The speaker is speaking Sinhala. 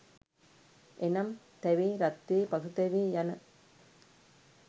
එනම්; තැවේ, රත්වේ, පසුතැවේ යන